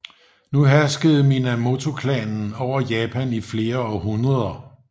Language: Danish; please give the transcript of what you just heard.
Nu herskede Minamotoklanen over Japan i flere århundreder